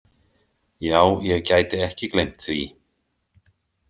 Já, ég gæti ekki gleymt því.